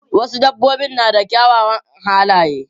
Wasu dabbobin na da kyawawan halaye.